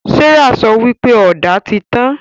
Serah sọ wípé Ọ̀dà tí tàn